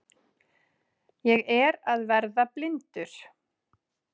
Ég er að verða blindur!